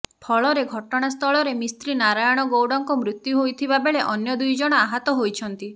ଫଳରେ ଘଟଣାସ୍ଥଳରେ ମିସ୍ତ୍ରୀ ନାରାୟଣ ଗୌଡଙ୍କ ମୄତ୍ୟୁ ହୋଇଥିବାବେଳେ ଅନ୍ୟ ଦୁଇ ଜଣ ଆହତ ହୋଇଛନ୍ତି